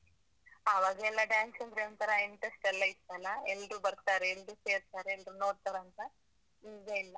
ಆವಾಗೆಲ್ಲ dance ಅಂದ್ರೆ ಒಂತರ interest ಎಲ್ಲ ಇತ್ತಲ್ಲ? ಎಲ್ರೂ ಬರ್ತಾರೆ, ಎಲ್ರೂ ಸೇರ್ತಾರೆ ಎಲ್ರೂ ನೋಡ್ತಾರಂತ. ಈಗ ಇಲ್ಲ.